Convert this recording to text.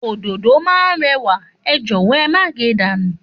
Òdòdó náà réwà, é jòwó é má ge dànù